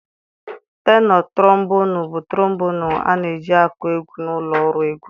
Tenọ Trombonụ bụ trombonụ a na-eji akụ egwu na ụlọ ọrụ egwu taa.